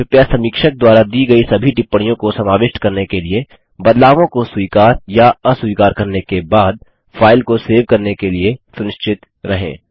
कृपया समीक्षक द्वारा दी गई सभी टिप्पणियों को समाविष्ट करने के लिए बदलावों को स्वीकार या अस्वीकार करने के बाद फाइल को सेव करने के लिए सुनिश्चित रहें